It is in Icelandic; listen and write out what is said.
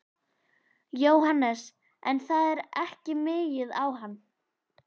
Jóhannes: En það er ekki migið á hann?